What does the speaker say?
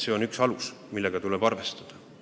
See on üks alus, millega tuleb arvestada.